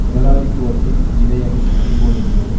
முதலாளித்துவத்தின் இதயமே அடிப்போயிருந்தது